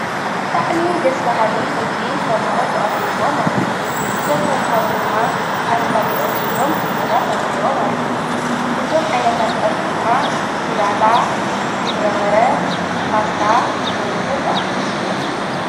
ብጥዕሚ ደስ ባሃሊ ምግቢ ንተምሃሮ ተቐሪብዎም ኣሎ እዘም ተምሃሮ ድማ ኣሥካድልኦም ሒዞም እንጀራ ተውሂቦም ኣሉዉ እዞም ዓይነታት ጸሒሑ ድማ ሥላጣ ፣ጕዕ በርበረ፣ ፓስታ ወዘተ ዝኣመሰሉ እዮም።